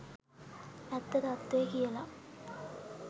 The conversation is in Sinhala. ඇත්ත තත්ත්වේ කියලා